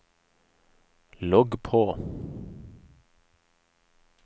logg på